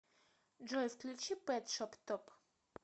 джой включи пэт шоп топ